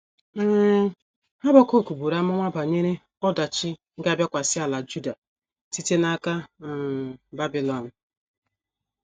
um Habakuk buru amụma banyere ọdachi ga - abịakwasị ala Juda site n’aka um Babilọn